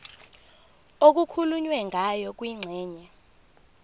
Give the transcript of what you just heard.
okukhulunywe ngayo kwingxenye